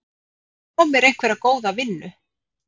Fá mér einhverja góða vinnu.